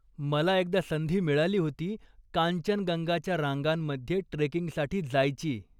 मला एकदा संधी मिळाली होती कांचनगंगाच्या रांगांमध्ये ट्रेकिंगसाठी जायची.